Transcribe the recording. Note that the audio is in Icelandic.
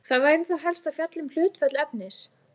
Það væri þá helst að fjalla um hlutföll efnis.